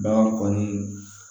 Bagan kɔni